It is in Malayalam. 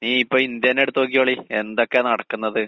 ഈ ഇപ്പ ഇന്ത്യ തന്നെ എടുത്ത് നോക്കിക്കോളീ എന്തൊക്കെയാ നടക്കുന്നത്?